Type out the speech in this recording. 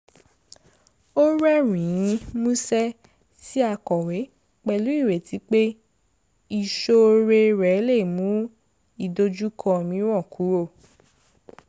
ó rẹ́rìn-ín músẹ́ sí akọ̀wé pẹ̀lú ìrètí pé ìṣoore rẹ̀ lè mú ìdojúkọ mìíràn kúrò